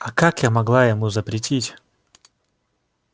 а как я могла ему запретить